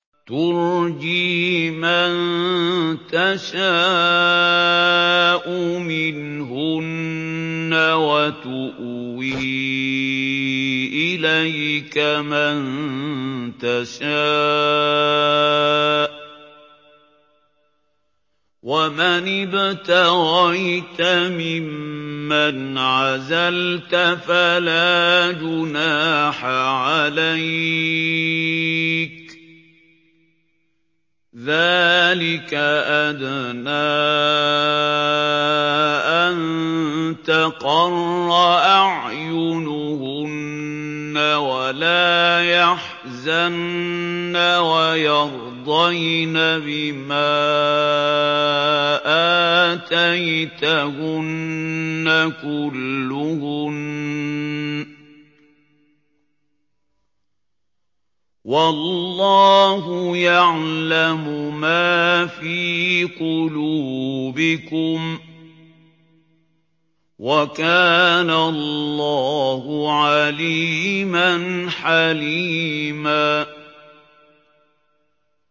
۞ تُرْجِي مَن تَشَاءُ مِنْهُنَّ وَتُؤْوِي إِلَيْكَ مَن تَشَاءُ ۖ وَمَنِ ابْتَغَيْتَ مِمَّنْ عَزَلْتَ فَلَا جُنَاحَ عَلَيْكَ ۚ ذَٰلِكَ أَدْنَىٰ أَن تَقَرَّ أَعْيُنُهُنَّ وَلَا يَحْزَنَّ وَيَرْضَيْنَ بِمَا آتَيْتَهُنَّ كُلُّهُنَّ ۚ وَاللَّهُ يَعْلَمُ مَا فِي قُلُوبِكُمْ ۚ وَكَانَ اللَّهُ عَلِيمًا حَلِيمًا